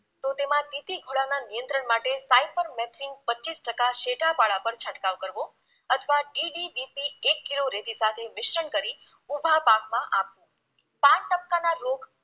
તો તેમાં તીતીઘોડાના નિયંત્રણ માટે સ્પાયપમમેથીન પચ્ચીસ ટકા શેઢા વાળા પર છંટકાવ કરવો અથવા ઢીલી એક કિલો રેતી સાથે મિશ્રણ કરી ઊભા પાકમાં આપ કાળા ટપકાના રોગ